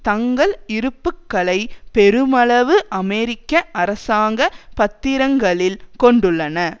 தங்கள் இருப்புக்களைப் பெருமளவு அமெரிக்க அரசாங்க பத்திரங்களில் கொண்டுள்ளன